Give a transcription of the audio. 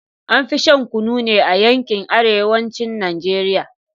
An fi shan Kunu ne a yankin arewacin Najeriya